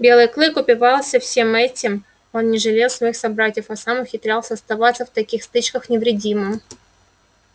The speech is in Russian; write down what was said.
белый клык упивался всем этим он не жалел своих собратьев а сам ухитрялся оставаться в таких стычках невредимым